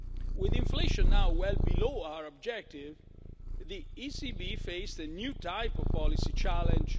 With inflation now well below our objective, the ECB faced a new type of policy challenge.